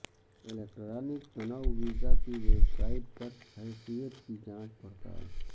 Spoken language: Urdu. الیکٹرانک تنوع ویزا کی ویب سائٹ پر حیثیت کی جانچ پڑتال